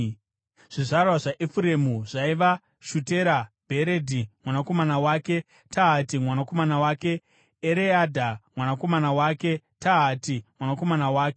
Zvizvarwa zvaEfuremu zvaiva: Shutera, Bheredhi mwanakomana wake, Tahati mwanakomana wake, Ereadha mwanakomana wake, Tahati mwanakomana wake,